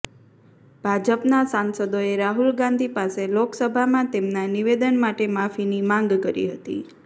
ભાજપનાં સાંસદોએ રાહુલ ગાંધી પાસે લોકસભામાં તેમના નિવેદન માટે માફીની માંગ કરી હતી